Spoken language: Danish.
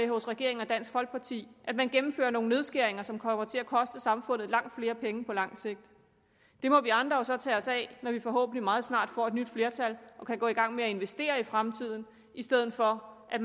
hos regeringen og dansk folkeparti at man gennemfører nogle nedskæringer som kommer til at koste samfundet langt flere penge på lang sigt det må vi andre så tage os af når vi forhåbentlig meget snart får et nyt flertal og kan gå i gang med at investere i fremtiden i stedet for at